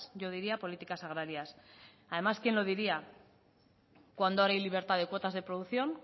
yo diría políticas agracias además quien lo diría cuando ahora hay libertad de cuotas de producción